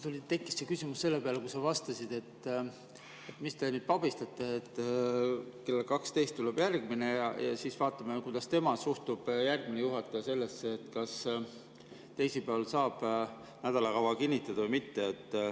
Mul tekkis küsimus selle peale, kui sa vastasid, et mis te nüüd pabistate, et kell 12 tuleb järgmine ja siis vaatame, kuidas tema suhtub sellesse, kas teisipäeval saab nädalakava kinnitada või mitte.